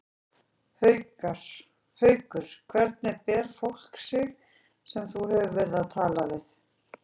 Haukur: Hvernig ber fólk sig sem þú hefur verið að tala við?